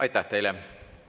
Aitäh teile!